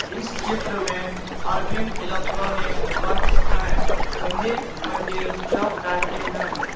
इस चित्र में अरविंद इलेक्ट्रॉनिक वर्क्स है संदीप मंजिल चौक डाल्टन गंज ।